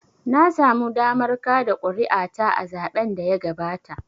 Na samu damar kaɗa kuri'a ta a zaɓen da ya gabata.